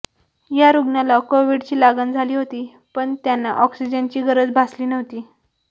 या रुग्णाला कोव्हिडची लागण झाली होती पण त्यांना ऑक्सिजनची गरज भासली नव्हती